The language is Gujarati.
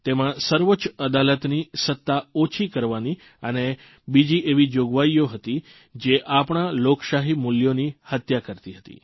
તેમાં સર્વોચ્ચ અદાલતની સત્તા ઓછી કરવાની અને બીજી એવી જોગવાઇઓ હતી જે આપણા લોકશાહી મૂલ્યોની હત્યા કરતી હતી